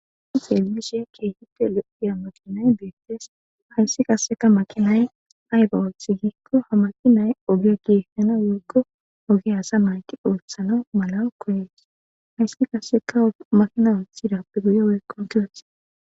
i qelbishiye keehite lo7iya makinay beettees hayssi kasseka makinay ayba walthi giikko ha makinay oge gesana yoggo oge asa mayki ooththana malawo koyees hayssi kasseka makina othidappe guye weqonkiyoti